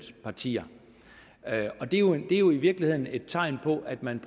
partier det er jo i virkeligheden et tegn på at man